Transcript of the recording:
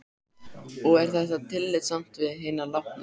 En af hverju að breyta fyrirkomulagi sjúkraprófanna?